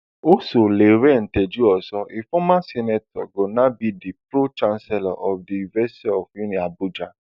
also lanre tejuoso a former senator go now be di pro chancellor of di university of uniabuja